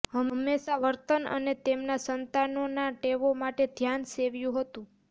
હંમેશા વર્તન અને તેમના સંતાનો ના ટેવો માટે ધ્યાન સેવ્યું હતું